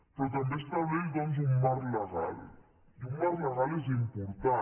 però també estableix doncs un marc legal i un marc legal és important